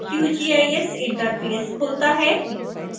qgis interface खुलता है